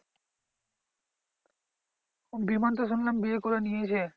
বিমান তো শুনলাম বিয়ে করে নিয়েছে।